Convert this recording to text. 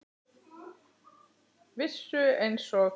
Vissu einsog